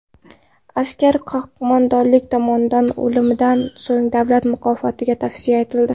Askar qo‘mondonlik tomonidan o‘limidan so‘ng davlat mukofotiga tavsiya etildi.